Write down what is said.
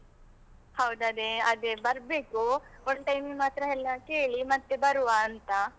ಹೌದು, ಅದೇ ಅದೇ ಬರ್ಬೇಕು, one time ನಿಮ್ಮ್ ಹತ್ರ ಎಲ್ಲ ಕೇಳಿ ಮತ್ತೆ ಬರುವ ಅಂತ.